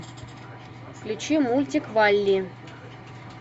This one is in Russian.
включи мультик валли